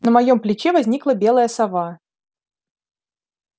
на моём плече возникла белая сова